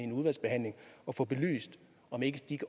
en udvalgsbehandling at få belyst om ikke